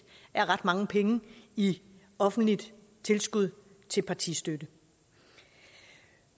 er ret mange penge i offentligt tilskud til partistøtte